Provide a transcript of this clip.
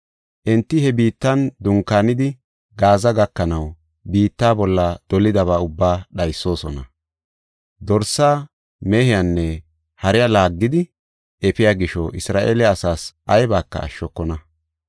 Enti he biittan dunkaanidi, Gaaza gakanaw, biitta bolla dolidaba ubbaa dhaysoosona. Dorse, mehenne hare laaggidi efiya gisho, Isra7eele asaas aybaka ashshokona.